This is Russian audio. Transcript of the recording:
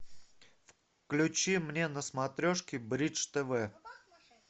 включи мне на смотрешке бридж тв